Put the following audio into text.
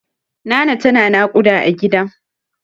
Nana tana naƙuda a gida.